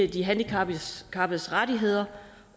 de handicappedes rettigheder